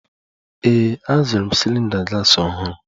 Ee, azụrụ m cylinder gas ọhụrụ